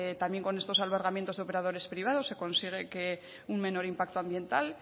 también con estos albergamientos de operadores privados se consigue un menor impacto ambiental